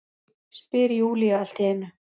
spyr Júlía allt í einu.